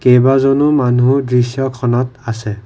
কেইবাজনো মানুহ দৃশ্যখনত আছে।